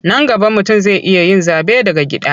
Nan gaba mutum zai iya yin zaɓe daga gida.